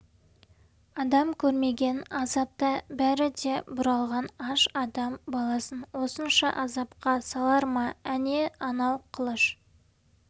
адам көрмеген азапта бәрі де бұралған аш адам баласын осынша азапқа салар ма әне анау қылыш